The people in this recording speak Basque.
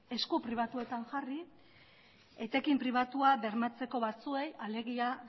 esku pribatuetan jarri etekin pribatua bermatzeko batzuei alegia